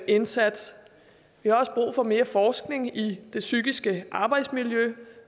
indsats vi har også brug for mere forskning i det psykiske arbejdsmiljø